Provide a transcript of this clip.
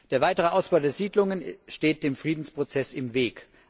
Der weitere Ausbau der Siedlungen steht dem Friedensprozess im Weg.